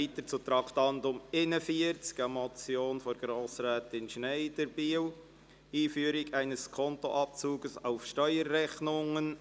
Wir kommen zum Traktandum 41 und damit zur Motion von Grossrätin Schneider, «Einführung eines Skonto-Abzugs auf Steuerrechnungen».